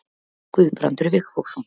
Guðbrandur Vigfússon.